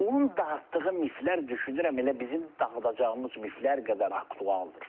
Onun dağıtdığı mifflər düşünürəm elə bizim dağıdacağımız mifflər qədər aktualdır.